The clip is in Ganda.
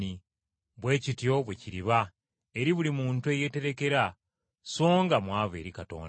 “Bwe kityo bwe kiriba eri buli muntu eyeeterekera, so nga mwavu eri Katonda.”